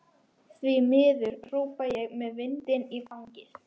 Því miður, hrópa ég með vindinn í fangið.